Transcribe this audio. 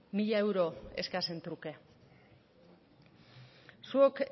mila euro eskasen truke zuok